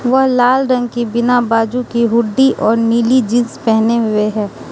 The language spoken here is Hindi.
वह लाल रंग की बिना बाजू की हुड्डी और नीली जींस पहने हुए है।